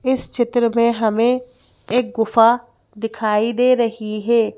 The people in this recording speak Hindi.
इस चित्र में हमें एक गुफा दिखाई दे रही है।